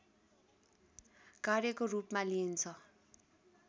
कार्यको रूपमा लिइन्छ